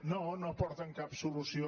no no aporten cap solució